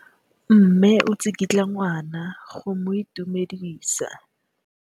Mme o tsikitla ngwana go mo itumedisa.